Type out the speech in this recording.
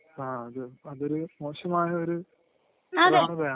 ങാ..അത്..അതൊരു മോശമായ ഒരു പ്രവണതയാണ്..